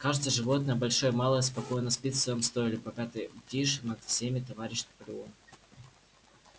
каждое животное большое и малое спокойно спит в своём стойле пока ты бдишь над всеми товарищ наполеон